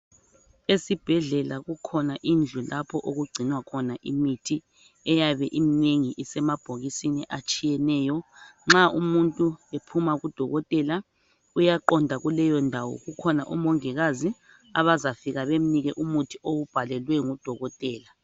esibhedlela kukhona indlu lapho okugcinwa khona imithi eyabe iminengi isemabhokisini atshiyeneyo nxa umuntu ephuma kudokotela uyaqonda kuleyo ndawo kukhona umongikazi abazafika bemnike umuthi awubhalelwe ngudokotela